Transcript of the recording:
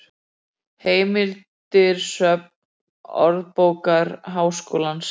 heimildir söfn orðabókar háskólans